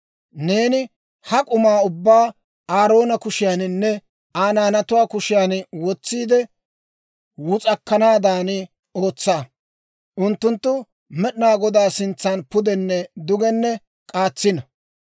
Neeni ha k'umaa ubbaa Aaroona kushiyaaninne Aa naanatuwaa kushiyaan wotsiide wus'akkanaadan ootsa. Unttuntta Med'inaa Godaa sintsan pudenne dugenne k'aatsino.